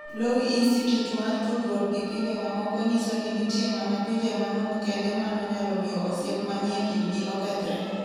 Lowy Institute mar tudruok gi pinje mamoko nyiso ni nitie mana pinje manok kende Mano nyalo miyo osiep manie kindgi okethre.